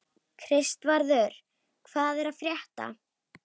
Kristvarður, hvað er að frétta?